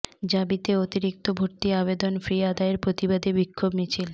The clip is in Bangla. জাবিতে অতিরিক্ত ভর্তি আবেদন ফি আদায়ের প্রতিবাদে বিক্ষোভ মিছিল